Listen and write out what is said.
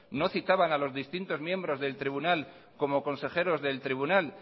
no citaban a los distintos miembros del tribunal como consejeros del tribunal